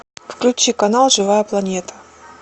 включи канал живая планета